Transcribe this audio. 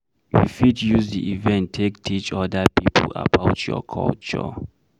You fit use di event take teach oda pipo about your culture